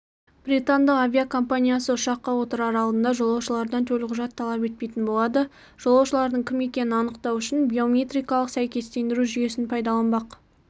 британдық авиакомпаниясы ұшаққа отырар алдында жолаушылардан төлқұжат талап етпейтін болады жолаушылардың кім екенін анықтау үшін биометрикалық сәйкестендіру жүйесін пайдаланбақ